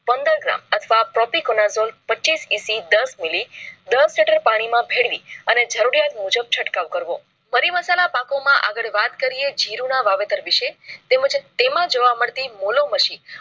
પંદર gram અથવા. propeganol પચીસ EC દસ મીલી દસ લિટર પાણી માં ભેળવીને અને જરૂરિયાત મુજબ ચટકાવ કરવો મરી મસાલા પાકો માં આગળ વાત કરીયે જીરૂ ના વાવેતર વિષય તેમજ તેમાં જોવા મળતી મુલોમશી